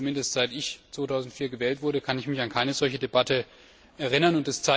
Zumindest seit ich 2004 gewählt wurde, kann ich mich an keine solche Debatte erinnern.